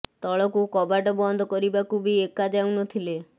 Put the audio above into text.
ତଳକୁ କବାଟ ବନ୍ଦ କରିବାକୁ ବି ଏକା ଯାଉ ନ ଥିଲେ